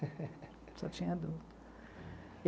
Só tinha adulto.